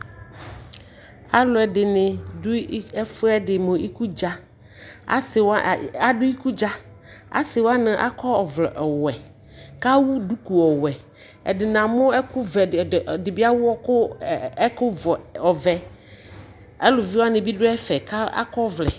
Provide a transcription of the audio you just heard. alʊɛdɩnɩ dʊ ikudza, asiwanɩ akɔ ɔvlɛ ɔwɛ kʊ ewu duku ɔwɛ, ɛdɩbɩ ewu ɛkʊvɛ, aluviwanɩ bɩ dʊ ɛfɛ kʊ akɔ ɔvlɛ